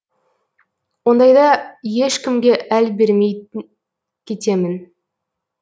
ондайда ешкімге әл бермей кетемін